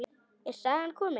Er sagan komin?